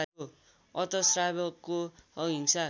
अत श्रावकको अहिंसा